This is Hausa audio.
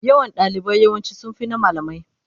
Yawan ɗalibai yawanci sun fi na malamai.